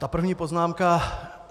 Ta první poznámka.